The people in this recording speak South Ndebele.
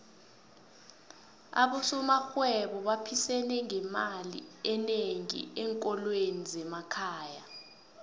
abosomarhwebo baphisene ngemali enengi enkolweni zemakhaya